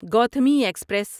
Gautami express